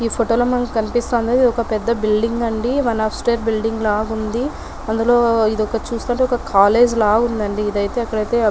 ఈ ఫోటో లో మనకి కనిపిస్తుంది ఒక పెద్ద బిల్డింగ్ అండి ఇదైతే చూస్తే కాలేజ్ లాగా ఉందండి ఇదైతే ఇక్కడైతే ---